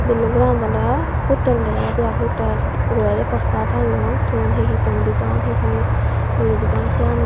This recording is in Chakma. bilding goranot oley hotel dega jaide aai hotel uguredi ekko postar tangeyon ton he he ton bijon he he uru bijon siyani.